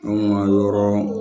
Anw ka yɔrɔ